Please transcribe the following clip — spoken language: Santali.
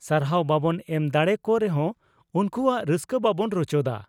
ᱥᱟᱨᱦᱟᱣ ᱵᱟᱵᱚᱱ ᱮᱢ ᱫᱟᱲᱮᱭᱟ ᱠᱚ ᱨᱮᱦᱚᱸ ᱩᱱᱠᱩᱣᱟᱜ ᱨᱟᱹᱥᱠᱟᱹ ᱵᱟᱵᱚᱱ ᱨᱚᱪᱚᱫᱟ ᱾